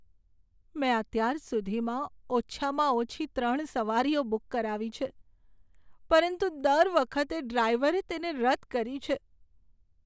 મેં અત્યાર સુધીમાં ઓછામાં ઓછી ત્રણ સવારીઓ બુક કરાવી છે, પરંતુ દર વખતે ડ્રાઈવરે તેને રદ કરી છે.